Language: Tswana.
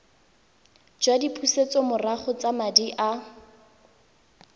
jwa dipusetsomorago tsa madi a